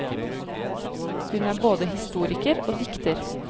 Hun er både historiker og dikter.